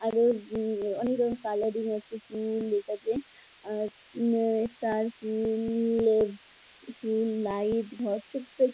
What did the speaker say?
আরও অনেক রকম কালারিং আছে ফুল আছে | আর উম আ স্টার ফুল ফুল লাইট ঘর ছোট্ট --